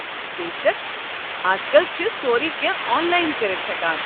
بے شک! ازکل چھِ سورُے کینٛہہ آن لایِن کٔرِتھ ہٮ۪کان۔